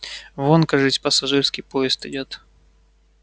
вон кажись пассажирский поезд идёт